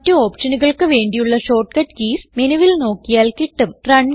മറ്റ് ഓപ്ഷനുകൾക്ക് വേണ്ടിയുള്ള ഷോർട്ട്കട്ട് കീസ് മെനുവിൽ നോക്കിയാൽ കിട്ടും